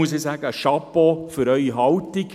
Hier sage ich: «Chapeau» für Ihrer Haltung.